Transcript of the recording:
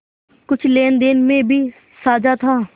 कुछ लेनदेन में भी साझा था